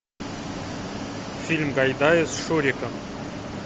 фильм гайдая с шуриком